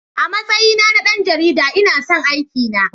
A matsayi na na ɗan jarida, ina son aikina.